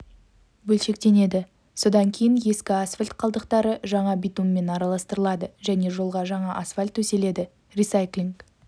бөлшектенеді содан кейін ескі асфальт қалдықтары жаңа битуммен араластырылады және жолға жаңа асфальт төселеді ресайклинг